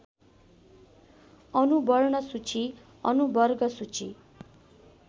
अनुवर्णसूची अनुवर्गसूची